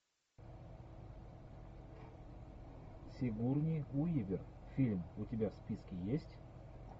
сигурни уивер фильм у тебя в списке есть